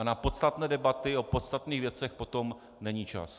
A na podstatné debaty o podstatných věcech potom není čas.